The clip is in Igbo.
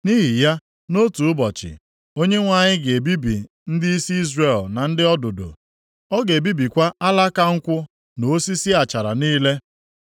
Nʼihi ya, nʼotu ụbọchị, Onyenwe anyị ga-ebibi ndịisi Izrel na ndị ọdụdụ, ọ ga-ebibikwa alaka nkwụ na osisi achara niile.